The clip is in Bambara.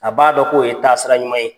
A b'a dɔn k'o ye taasiraɲuman ye.